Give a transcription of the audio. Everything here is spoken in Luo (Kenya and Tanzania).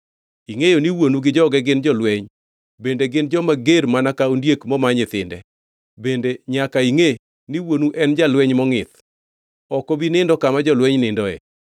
Ingʼeyo ni wuonu gi joge gin jolweny, bende gin joma ger mana ka ondiek moma nyithinde. Bende nyaka ingʼe ni wuonu en jalweny mongʼith; ok obi nindo kama jolweny nindoe.